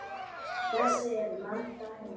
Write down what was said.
Þess eru mörg dæmi.